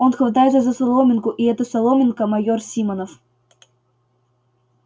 он хватается за соломинку и эта соломинка майор симонов